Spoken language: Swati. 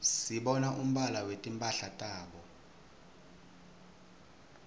sibona umbala wetimphala tabo